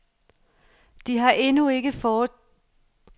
De har endnu ikke taget stilling til, hvordan det formelt skal foregå.